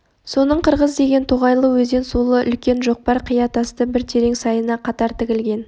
соның қырғыз деген тоғайлы өзен сулы үлкен жақпар қия тасты бір терең сайына қатар тігілген